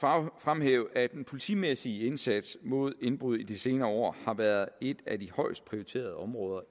fremhæve at den politimæssige indsats mod indbrud i de senere år har været et af de højest prioriterede områder